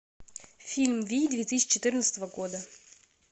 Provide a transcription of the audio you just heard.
фильм вий две тысячи четырнадцатого года